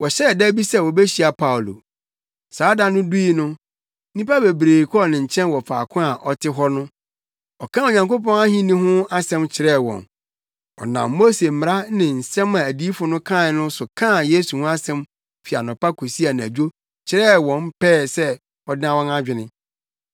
Wɔhyɛɛ da bi sɛ wobehyia Paulo. Saa da no dui no, nnipa bebree kɔɔ ne nkyɛn wɔ faako a ɔte hɔ no. Ɔkaa Onyankopɔn ahenni no ho asɛm kyerɛɛ wɔn. Ɔnam Mose mmara ne nsɛm a adiyifo no kae no so kaa Yesu ho asɛm fi anɔpa kosii anadwo kyerɛɛ wɔn pɛɛ sɛ ɔdan wɔn adwene.